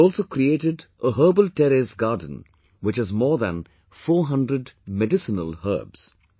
She has also created a herbal terrace garden which has more than 400 medicinal herbs